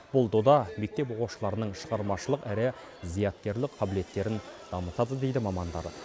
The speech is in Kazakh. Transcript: бұл дода мектеп оқушыларының шығармашылық әрі зияткерлік қабілеттерін дамытады дейді мамандар